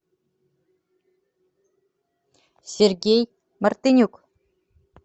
сергей мартынюк